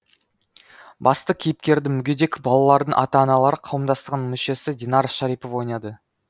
басты кейіпкерді мүгедек балалардың ата аналары қауымдастығының мүшесі динара шарипова ойнады